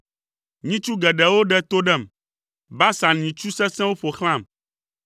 Nyitsu geɖewo ɖe to ɖem; Basan nyitsu sesẽwo ƒo xlãm.